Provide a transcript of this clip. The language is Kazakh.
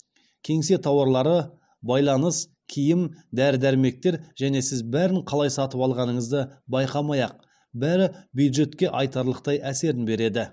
кеңсе тауарлары байланыс киім дәрі дәрмектер және сіз бәрін қалай сатып алғаныңызды байқамай ақ бәрі бюджетке айтарлықтай әсерін береді